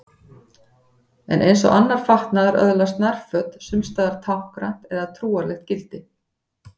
En eins og annar fatnaður öðlast nærföt sums staðar táknrænt eða trúarlegt gildi.